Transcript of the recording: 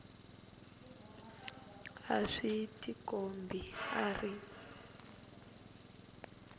a swi tikombi a ri